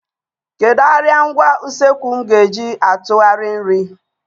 Kedu arịa ngwa usekwu m ga-eji atụgharị nri?